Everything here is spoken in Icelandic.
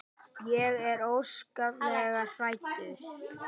Ég er óskaplega hrædd.